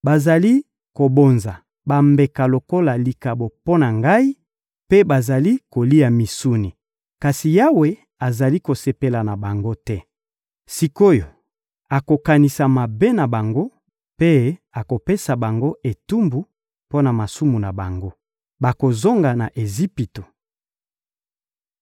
Bazali kobonza bambeka lokola likabo mpo na Ngai, mpe bazali kolia misuni; kasi Yawe azali kosepela na bango te. Sik’oyo, akokanisa mabe na bango mpe akopesa bango etumbu mpo na masumu na bango: bakozonga na Ejipito.